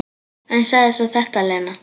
En sagði svo þetta, Lena.